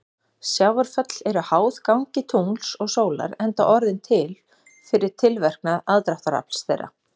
Sjávarföll eru háð gangi tungls og sólar enda orðin til fyrir tilverknað aðdráttarafls þeirra.